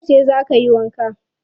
Yauce za ka yi wanka?